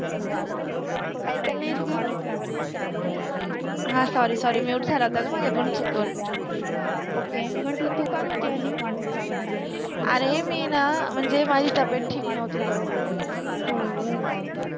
आयकायला नाइ येत ग, हा सॉरि सॉरि म्युट झाला होता ग माझ्याकडुन चुकुन ओके मटल तु का नवति आलिस अरे मि न मनजे माझि तब्बेत ठिक नवति तेव्हा ह्म्म